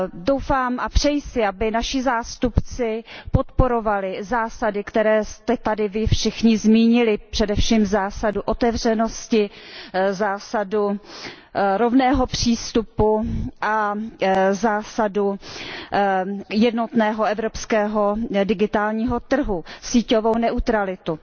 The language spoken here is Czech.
Doufám a přeji si, aby naši zástupci podporovali zásady, které jste tady vy všichni zmínili, především zásadu otevřenosti, zásadu rovného přístupu, zásadu jednotného evropského digitálního trhu a síťovou neutralitu.